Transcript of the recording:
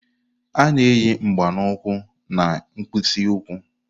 A na-eyi mgba na ukwu na mkpịsị ụkwụ.